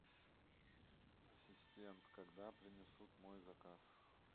ассистент когда принесут мой заказ